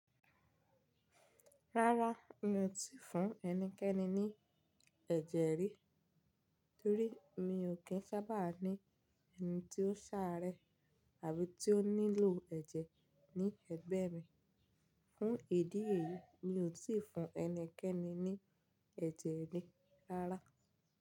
Rárá, mi ò tíì fún ẹnikẹ́ni ní ẹ̀jẹ̀ rí, torí mi ò kí ń sábà ní ẹni tí ó ṣáré àbí tí ó nílò ẹ̀jẹ̀ ní ẹgbẹ́ mi. Fún ìdí èyí, mi ò tíì fún ẹnikẹ́ni ní ẹ̀jẹ̀ rí rárá.